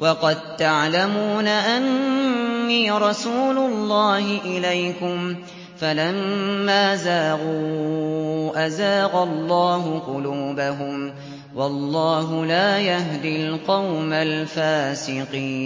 وَقَد تَّعْلَمُونَ أَنِّي رَسُولُ اللَّهِ إِلَيْكُمْ ۖ فَلَمَّا زَاغُوا أَزَاغَ اللَّهُ قُلُوبَهُمْ ۚ وَاللَّهُ لَا يَهْدِي الْقَوْمَ الْفَاسِقِينَ